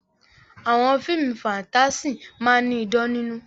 Àwọn fíìmù fáńtásì máa ní idán nínú.